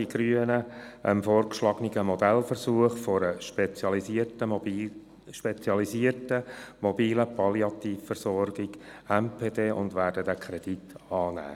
Die Grünen folgen dem vorgeschlagenen Modellversuch mit spezialisierten MPD und werden diesen Kredit annehmen.